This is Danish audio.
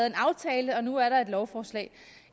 en aftale og nu er der et lovforslag